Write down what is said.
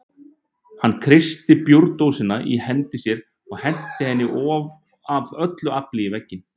Hann kreisti bjórdósina í hendi sér og henti henni af öllu afli í vegginn.